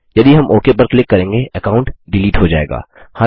यदि हम ओक पर क्लिक करेंगे अकाउंट डिलीट हो जाएगा